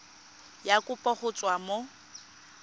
ya kopo go tswa mo